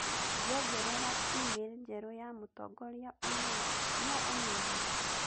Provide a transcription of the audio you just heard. Ngĩongerera e-mail njerũ ya mũtongoria ũmũthĩ, no ũmĩone